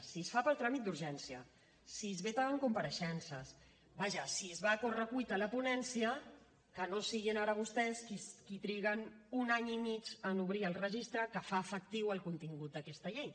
si es fa pel tràmit d’urgència si es veten compareixences vaja si es va a correcuita a la ponència que no siguin ara vostès qui triguen un any i mig en obrir el registre que fa efectiu el contingut d’aquesta llei